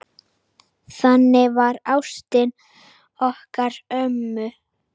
Þannig var ástin okkar ömmu.